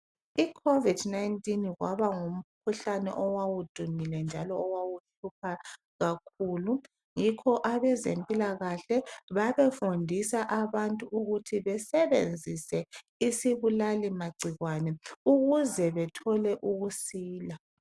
Icovid 19 kwaba ngumkhuhlane owawudumile njalo owawuhlupha kakhulu yikho abezempilakahle babefundisa abantu ukuthi besebenzise isibulali magcikwane ukuze bathole ukusila.